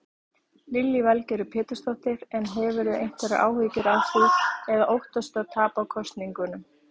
Lillý Valgerður Pétursdóttir: En hefurðu einhverjar áhyggjur af því eða óttastu að tapa kosningunum?